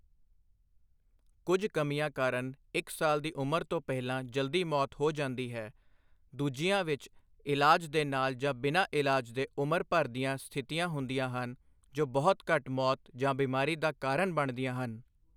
ਕੁੱਝ ਕਮੀਆਂ ਕਾਰਨ ਇੱਕ ਸਾਲ ਦੀ ਉਮਰ ਤੋਂ ਪਹਿਲਾਂ ਜਲਦੀ ਮੌਤ ਹੋ ਜਾਂਦੀ ਹੈ, ਦੂਜੀਆਂ ਵਿੱਚ ਇਲਾਜ ਦੇ ਨਾਲ ਜਾਂ ਬਿਨਾਂ ਇਲਾਜ ਦੇ ਉਮਰ ਭਰ ਦੀਆਂ ਸਥਿਤੀਆਂ ਹੁੰਦੀਆਂ ਹਨ ਜੋ ਬਹੁਤ ਘੱਟ ਮੌਤ ਜਾਂ ਬਿਮਾਰੀ ਦਾ ਕਾਰਨ ਬਣਦੀਆਂ ਹਨ।